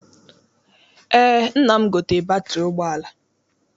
Eé, nna m gotere batịrị ụgbọala.